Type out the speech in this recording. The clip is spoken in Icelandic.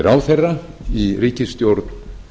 ráðherra í ríkisstjórn